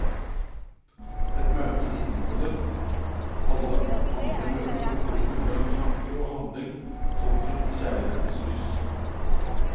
Et møte inneholder alle andre møter på broen mellom tanke og handling, tolket i kjærlighetens lys.